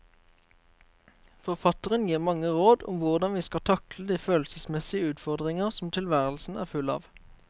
Forfatteren gir mange råd om hvordan vi skal takle de følelsesmessige utfordringer som tilværelsen er full av.